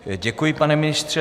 Děkuji, pane ministře.